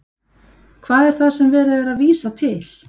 Hvað er það sem er verið að vísa til?